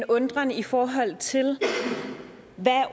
undren i forhold til hvad